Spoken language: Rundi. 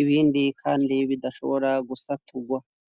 ibindi kandi bidashobora gusaturwa